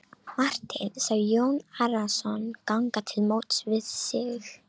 Marteinn sá Jón Arason ganga til móts við sig.